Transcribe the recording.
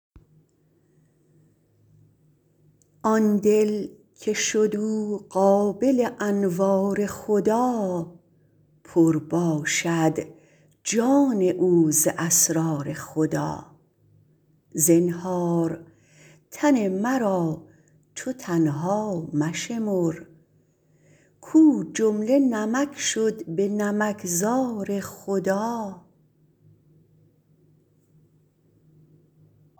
آن دل که شد او قابل انوار خدا پر باشد جان او ز اسرار خدا زنهار تن مرا چو تنها مشمر کو جمله نمک شد به نمک زار خدا